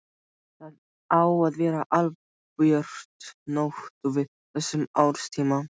Það á að vera albjört nótt á þessum árstíma.